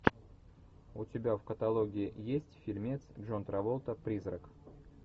у тебя в каталоге есть фильмец джон траволта призрак